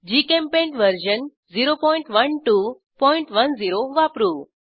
GChemPaint version 01210 वापरू